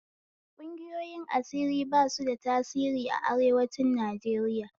Ƙungiyoyin asiri ba su da tasiri a arewancin Najeriya